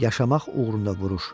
Yaşamaq uğrunda vuruş.